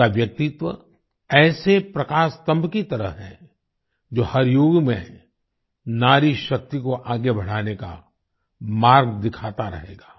उनका व्यक्तित्व ऐसे प्रकाश स्तम्भ की तरह है जो हर युग में नारी शक्ति को आगे बढ़ाने का मार्ग दिखाता रहेगा